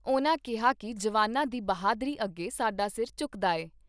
ਉਨ੍ਹਾਂ ਕਿਹਾ ਕਿ ਜਵਾਨਾਂ ਦੀ ਬਹਾਦਰੀ ਅੱਗੇ ਸਾਡਾ ਸਿਰ ਝੁਕਦਾ ਏ।